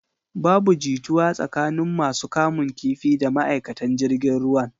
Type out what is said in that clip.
Babu jituwa tsakanin masu kamun kifi da ma'aikatan jirgin ruwan.